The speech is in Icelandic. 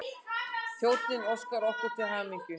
Þjónninn óskar okkur til hamingju.